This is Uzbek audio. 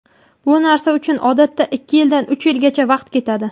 Bu narsa uchun odatda ikki yildan uch yilgacha vaqt ketadi.